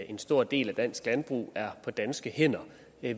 en stor del af dansk landbrug er på danske hænder